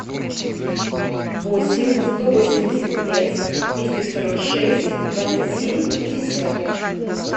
восемь сто восемьдесят пять двести сорок шесть двадцать семь пятьдесят